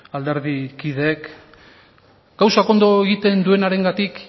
alderdikideek gauzak ondo egiten duenarengatik